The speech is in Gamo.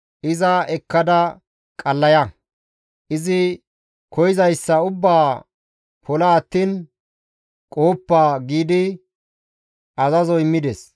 «Iza ekkada qallaya; izi koyzayssa ubbaa pola attiin qohoppa» giidi azazo immides.